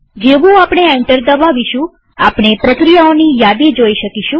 જેવું આપણે એન્ટર દબાવીશું આપણે પ્રક્રિયાઓની યાદી જોઈ શકીશું